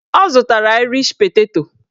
Ọ zụtara aịrish peteto